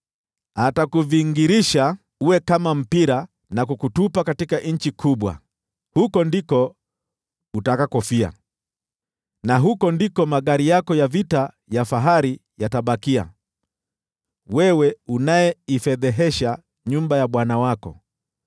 Atakuvingirisha uwe kama mpira na kukutupa katika nchi kubwa. Huko ndiko utakakofia, na huko ndiko magari yako ya vita ya fahari yatabakia, wewe unayeifedhehesha nyumba ya bwana wako!